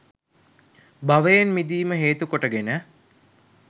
භවයෙන් මිදීම හේතුකොට ගෙන